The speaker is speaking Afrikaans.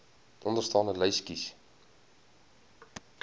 onderstaande lys kies